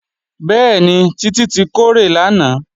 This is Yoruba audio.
Bẹ́ẹ̀ni, Títí tí kórè lánàá